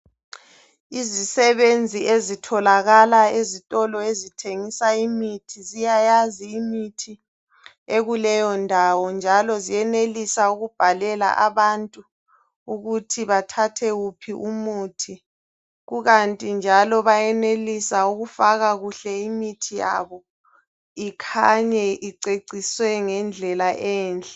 Izisebenzi eztolo ezithengisa ezithengisa imithi ziyayazi imithi ekuleyondawo njalo ziyenelisa ukubhalela abantu ukuthi bathathe wuphi umuthi kukanti njalo bayenelisa ukufaka kuhle imithi yabo ikhanye iceciswe ngendlela enhle